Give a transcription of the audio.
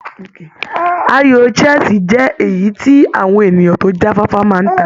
Ayò chess jẹ́ èyí tí àwọn ènìyàn tó já fáfá máa ń ta.